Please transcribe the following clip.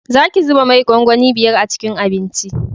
Za ki zuba mai gwangwani biyar a cikin abinci